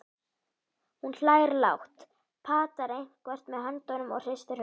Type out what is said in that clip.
Hún hlær lágt, patar eitthvað með höndunum og hristir höfuðið.